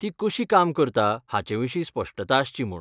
ती कशी काम करता हाचे विशीं स्पश्टता आसची म्हूण.